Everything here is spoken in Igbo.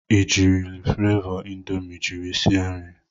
I jiiri flavọ indomi jiri sie nri?